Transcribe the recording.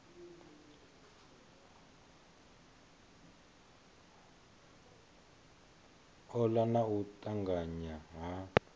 ola na u tanganya ha